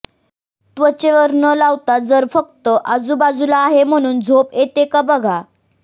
त्वचेवर न लावता जर फक्त आजूबाजूला आहे म्हणून झोप येते का बघा